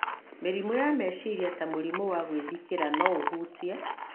Mĩrimũ ya meciria ta mũrimũ wa gwĩthikĩra no ũhutie